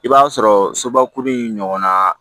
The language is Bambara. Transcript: I b'a sɔrɔ sobakuru in ɲɔgɔnna